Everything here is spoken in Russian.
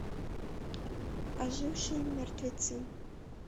ожившие мертвецы